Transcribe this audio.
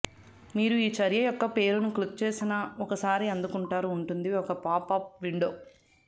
మీరు ఈ చర్య యొక్క పేరును క్లిక్ చేసిన ఒకసారి అందుకుంటారు ఉంటుంది ఒక పాప్ అప్ విండో